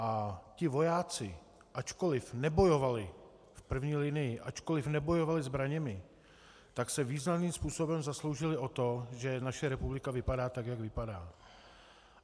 A ti vojáci, ačkoli nebojovali v první linii, ačkoli nebojovali zbraněmi, tak se významným způsobem zasloužili o to, že naše republika vypadá, tak jak vypadá.